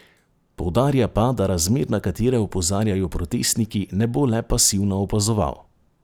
Poudarja pa, da razmer, na katere opozarjajo protestniki, ne bo le pasivno opazoval.